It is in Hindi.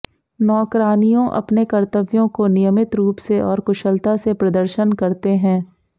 नौकरानियों अपने कर्तव्यों को नियमित रूप से और कुशलता से प्रदर्शन करते हैं